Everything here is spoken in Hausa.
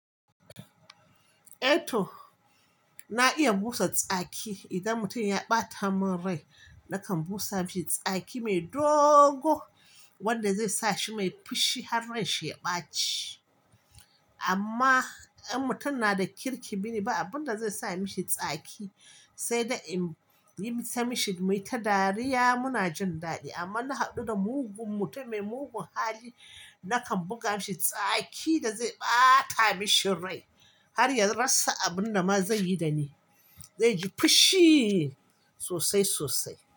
Eh to, na iya busa tsaki. Idan mutum ya ɓata min rai, nakan busa mishi tsaki mai dogo wanda zai sa shi mai fushi har ransa ya ɓaci. Amma in mutum na da kirki, biniba, abin da zai sa mishi tsaki sai dai in yi masa mishi mai ta dariya muna jin daɗi. Amma na haɗu da mugun mutum mai mugun hali, nakan buga mishi tsaki da zai ɓata mishi rai har ya rasa abin da ma zai yi da ni. Zai ji fushi sosai sosai.